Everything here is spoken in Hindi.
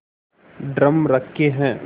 ड्रम रखे हैं